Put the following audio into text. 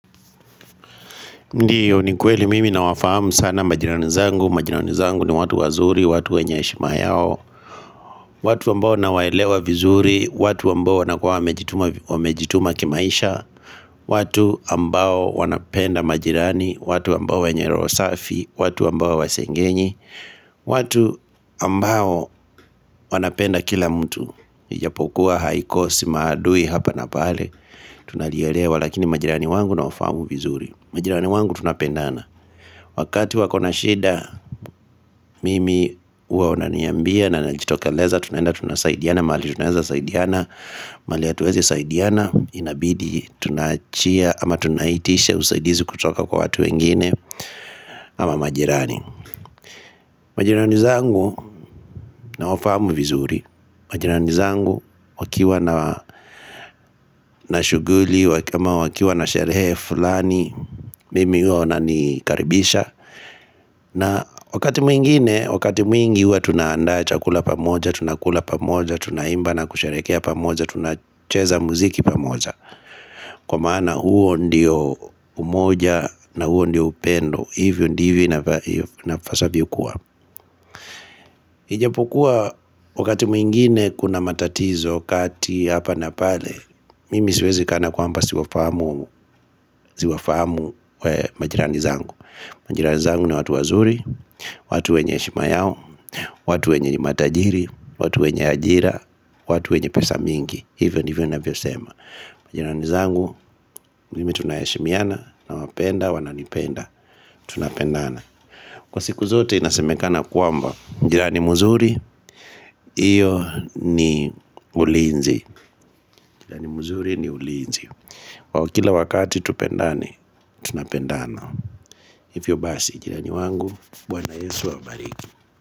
Ndiyo, ni kweli mimi nawafahamu sana majirani zangu. Ni watu wazuri, watu wenye heshima yao, watu ambao nawaelewa vizuri, watu ambao wamejituma kimaisha, watu ambao wanapenda majirani, watu wenye roho safi, watu ambao hawasengenyi, watu ambao wanapenda kila mtu, ijapokuwa haikosi maadui hapa na pale, tunalielewa, lakini majirani zangu ninawafahamu vizuri. Majirani zangu tunapendana. Wakati wako na shida, mimi huwa wananiambia na ninajitokeleza tunaenda tunasaidiana mahali tunawezasaidiana, mahali hatuwezi saidiana inabidi tunaitisha usaidizi kutoka kwa watu wengine ama majirani, Majirani zangu nawafahamu vizuri Majirani zangu wakiwa na shughuli ama wakiwa na sherehe fulani mimi huwa wananikaribisha, na wakati mwingi huwa tunaandaa chakula pamoja, tunakula pamoja, tunaimba na kusherehekea pamoja, tunacheza muziki pamoja, kwa maana huo ndio umoja, na huo ndio upendo, hivyo ndivyo na ipasavyo kuwa. Ijapokuwa, wakati mwingine kuna matatizo kati hapa na pale, mimi siwezi kana kwamba siwafahamu majirani zangu Majirani zangu ni watu wazuri, watu wenye heshima yao, watu wenye ni matajiri, watu wenye ajira, watu wenye pesa mingi. Hivyo ndivyo ninavyosema Majirani zangu, mimi tunaheshimiana, nawapenda, wananipenda, tunapendana. Kwa siku zote inasemekana kwamba, jirani mzuri, huo ni ulinzi. Jirani mzuri ni ulinzi. Kila wakati, tupendane, tunapendana. Hivyo basi, jirani wangu, Bwana Yesu awabariki.